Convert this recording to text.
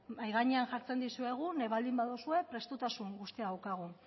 mahai gainean jartzen dizuegu nahi baldin baduzue prestutasun guztia daukagu